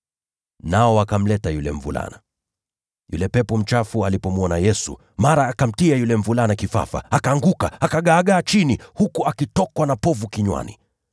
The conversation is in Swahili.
Nao wakamleta yule mvulana. Yule pepo mchafu alipomwona Yesu, mara akamtia yule mvulana kifafa, akaanguka, akagaagaa chini huku akitokwa na povu kinywani.